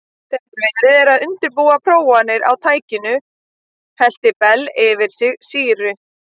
Þegar verið var að undirbúa prófanir á tækinu hellti Bell yfir sig sýru.